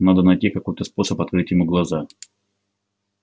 надо найти какой-то способ открыть ему глаза